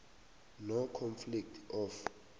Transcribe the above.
on conflict of